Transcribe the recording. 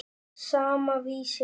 Sama, Vísir.